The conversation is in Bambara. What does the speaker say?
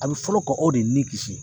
A bɛ fɔlɔ kɔ aw de nin kisi.